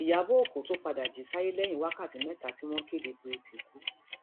ìyàbọ ọkọ tún padà jí sáyé lẹyìn wákàtí mẹta tí wọn kéde pé ó ti kú